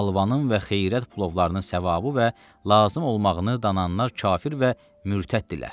Halvanın və xeyrət plovlarının savabı və lazım olmağını dananlar kafir və mürtəddirlər.